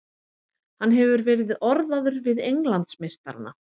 Hann hefur verið orðaður við Englandsmeistarana.